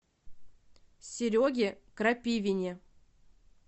сереге крапивине